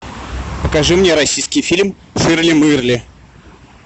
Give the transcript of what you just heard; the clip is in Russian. покажи мне российский фильм ширли мырли